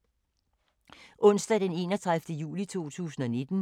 Onsdag d. 31. juli 2019